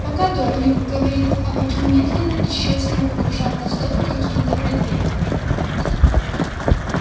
пока дорник говорил аваким медленно и тщательно выгружал на стол какие-то предметы